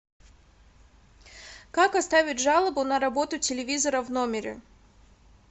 как оставить жалобу на работу телевизора в номере